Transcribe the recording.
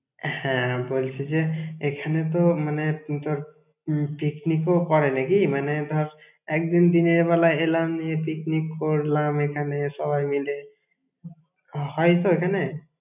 হ্যাঁ, বলছি যে এখানে তো মানে তোর উম picnic ও করে নাকি? মানে ধর, একদিন দিনের বেলায় এলাম দিয়ে picnic করলাম এখানে সবাই মিলে, হয়তো এখানে?